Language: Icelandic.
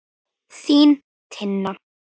Þín, Tinna.